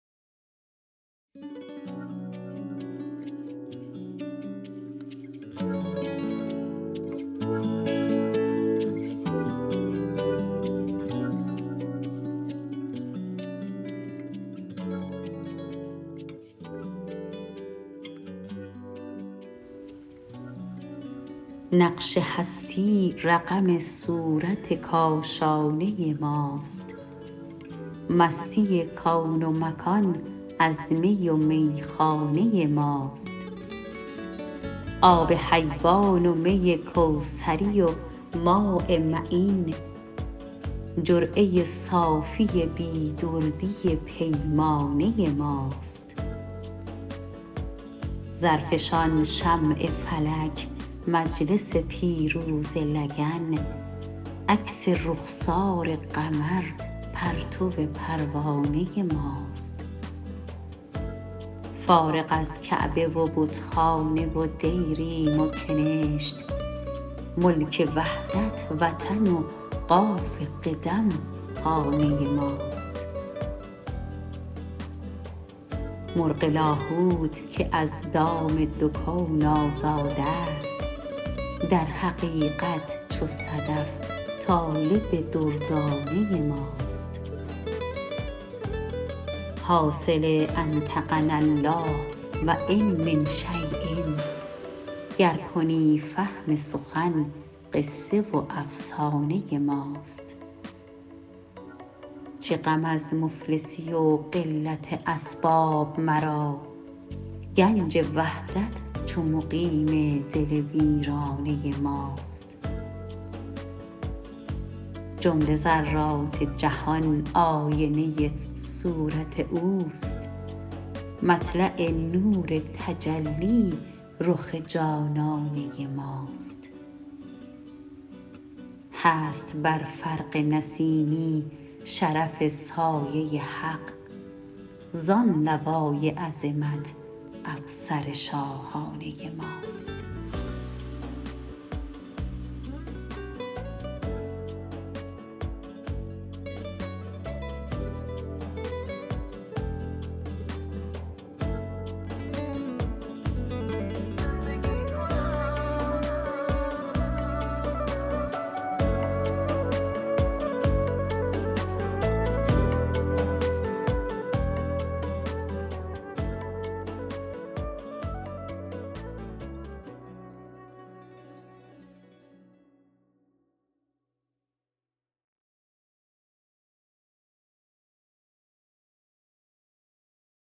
نقش هستی رقم صورت کاشانه ماست مستی کون و مکان از می و میخانه ماست آب حیوان و می کوثری و ماء معین جرعه صافی بی دردی پیمانه ماست زرفشان شمع فلک مجلس پیروزه لگن عکس رخسار قمر پرتو پروانه ماست فارغ از کعبه و بتخانه و دیریم و کنشت ملک وحدت وطن و قاف قدم خانه ماست مرغ لاهوت که از دام دو کون آزاد است در حقیقت چو صدف طالب دردانه ماست حاصل انطقناالله و ان من شی ء گر کنی فهم سخن قصه و افسانه ماست چه غم از مفلسی و قلت اسباب مرا گنج وحدت چو مقیم دل ویرانه ماست جمله ذرات جهان آینه صورت اوست مطلع نور تجلی رخ جانانه ماست هست بر فرق نسیمی شرف سایه حق زان لوای عظمت افسر شاهانه ماست